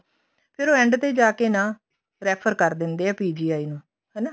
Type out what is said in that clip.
ਫੇਰ ਉਹ end ਤੇ ਜਾਕੇ ਨਾ refer ਕਰ ਦਿੰਦੇ ਆ PGI ਹਨਾ